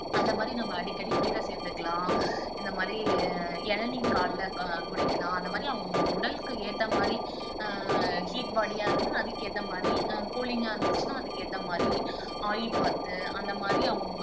அந்த மாதிரி நம்ம அடிக்கடி கீரை சேர்த்துக்கலாம் இந்த மாதிரி இளநீர் காலைல குடிக்கலாம் அந்த மாதிரி அவங்க உடலுக்கு ஏற்ற மாதிரி ஆஹ் heat body யா இருந்தா அதுக்கேத்த மாதிரி ஆஹ் cooling ஆ இருந்திச்சுன்னா அதுக்கேத்த மாதிரி oil bath அந்த மாதிரி அவங்க